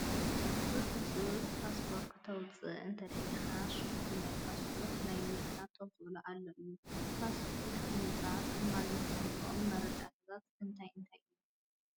ብህፁጽ ፓስፖርት ክተውውፅእ እንተደሊኻ ሽኹል ናይ ፓስፖርት ናይ ምርካብ ተኽእሎ ኣሎ እዩ፡፡ ፓስፖርት ንምውፃእ ክማልኡ ዝግብኦም መረዳእታታት እንታይ እንታይ እዮም ?